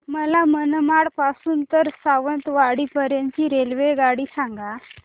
मला मनमाड पासून तर सावंतवाडी पर्यंत ची रेल्वेगाडी सांगा